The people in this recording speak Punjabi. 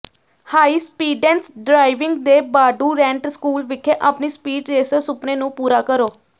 ਹਾਈ ਸਪੀਡੈਂਸ ਡ੍ਰਾਈਵਿੰਗ ਦੇ ਬਾਂਡੁਰੈਂਟ ਸਕੂਲ ਵਿਖੇ ਆਪਣੀ ਸਪੀਡ ਰੇਸਰ ਸੁਪਨੇ ਨੂੰ ਪੂਰਾ ਕਰੋ